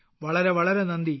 വളരെ വളരെ നന്ദി